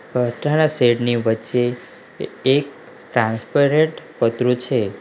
પતરાના shed ની વચ્ચે એક ટ્રાન્સપરેટ પતરું છે.